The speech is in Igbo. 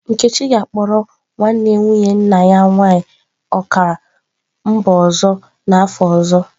Nkechi ga-akpọrọ nwanne nwunye nna ya nwaanyị ọkara mba ọzọ n'afọ ọzọ.